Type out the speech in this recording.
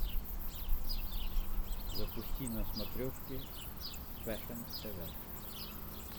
запусти на смотрешке фэшн тв